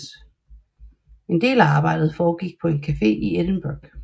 En del af arbejdet foregik på en cafe i Edinburgh